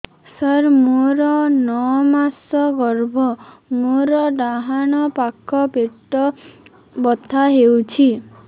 ସାର ମୋର ନଅ ମାସ ଗର୍ଭ ମୋର ଡାହାଣ ପାଖ ପେଟ ବଥା ହେଉଛି